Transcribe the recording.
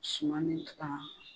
Suman ni tu ka